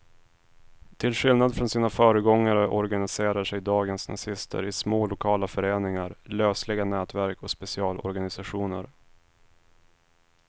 Till skillnad från sina föregångare organiserar sig dagens nazister i små lokala föreningar, lösliga nätverk och specialorganisationer.